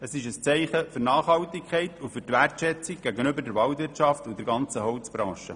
Es ist ein Zeichen der Nachhaltigkeit und der Wertschätzung gegenüber der Waldwirtschaft und der ganzen Holzbranche.